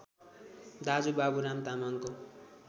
दाजु बाबुराम तामाङको